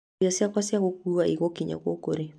Irio ciakwa cia gũkuua igũkinya gũkũ rĩ?